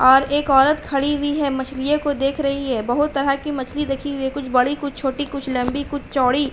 और एक औरत खड़ी वी है मछलिये को देख रही है। बहुत तरह की मछली देखि वी है कुछ बड़ी कुछ छोटी कुछ लंबी कुछ चौड़ी।